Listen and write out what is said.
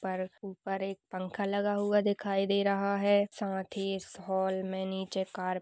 पर ऊपर एक पंखा लगा हुआ दिखाई दे रहा है। साथ ही इस हाल में नीचे कार --